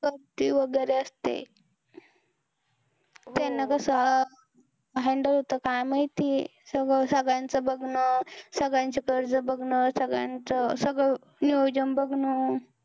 गर्दी वैगेरे असते हो त्यांना कस handle होत काय माहित सगळ सगळ्यांचं बघणं सगळ्यांच कर्ज बघणं सगळ्यांचं सगळ नियोजन बघणं